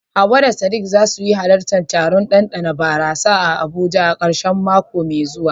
Hawwa da Sadiq za su halarci taron ɗanɗana barasa a Abuja a karshen mako mai zuwa.